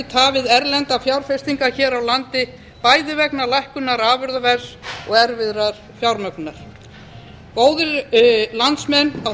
tafið erlendar fjárfestingar hér á landi bæði vegna lækkunar afurðaverðs og erfiðari fjármögnunar góðir landsmenn á